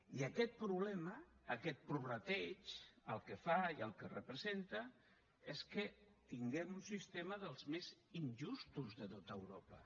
i aquest problema aquest prorrateig el que fa i el que representa és que tinguem un sistema dels més injustos de tot europa